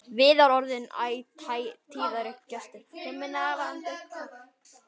Viðar orðinn æ tíðari gestur.